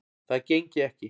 Það gengi ekki